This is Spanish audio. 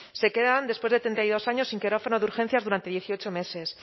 se quedan después de treinta y dos años sin quirófano de urgencias durante dieciocho meses